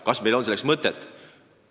Kas meil on selleks mõtet?